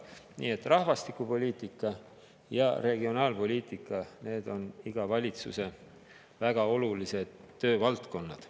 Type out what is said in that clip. Nii et rahvastikupoliitika ja regionaalpoliitika on iga valitsuse väga olulised töövaldkonnad.